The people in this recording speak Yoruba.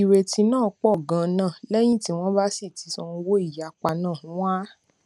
ìrètí náà pọ ganan lẹyìn tí wọn bá sì ti san owó ìyapa náà wọn á